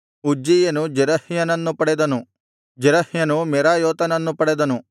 ಉಜ್ಜೀಯನು ಜೆರಹ್ಯನನ್ನು ಪಡೆದನು ಜೆರಹ್ಯನು ಮೆರಾಯೋತನನ್ನು ಪಡೆದನು